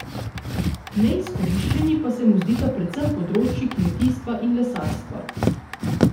Neizkoriščeni pa se mu zdita predvsem področji kmetijstva in lesarstva.